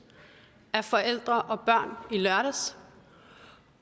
af forældre og børn i lørdags